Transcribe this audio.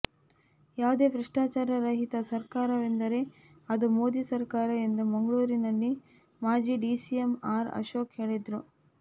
ಯಾವುದೇ ಭ್ರಷ್ಟಾಚಾರ ರಹಿತ ಸರಕಾರವೆಂದರೆ ಅದು ಮೋದಿ ಸರಕಾರ ಎಂದು ಮಂಗಳೂರಿನಲ್ಲಿ ಮಾಜಿ ಡಿಸಿಎಂ ಆರ್ ಅಶೋಕ್ ಹೇಳಿದರು